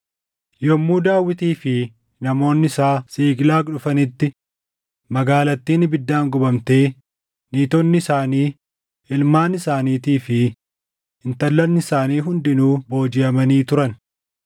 Yommuu Daawitii fi namoonni isaa Siiqlaag dhufanitti magaalattiin ibiddaan gubamtee niitonni isaanii, ilmaan isaaniitii fi intallan isaanii hundinuu boojiʼamanii turan.